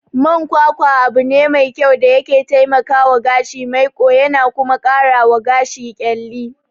Man kwakwa abune me kyau da yake taikawa gashi maiƙo yana kuma karawa gashi ƙyalli.